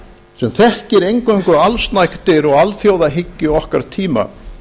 sem þekkir eingöngu allsnægtir og alþjóðahyggju okkar tíma